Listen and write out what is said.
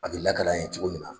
A bɛ lakali an ye cogo min na.